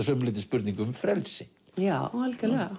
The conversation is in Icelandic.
sumu leyti spurning um frelsi já algerlega